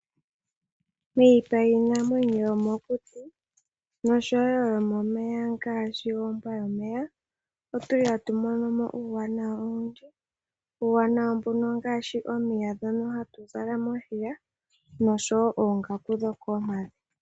Miipa yinamwenyo ngaashi ombwa dhomeya ohatu monomo uuwanawa owindji ngaashi miya dhono tatu zala mombunda oshowo oongaku.